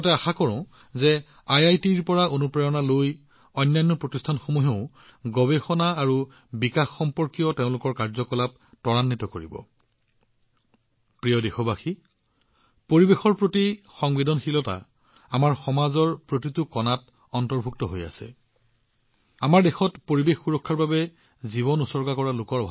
মই লগতে আশা কৰোঁ যে আইআইটিৰ পৰা অনুপ্ৰেৰণা লৈ অন্যান্য প্ৰতিষ্ঠানসমূহেও তেওঁলোকৰ অনুসন্ধান আৰু কাৰ্যকলাপ বৃদ্ধি কৰিব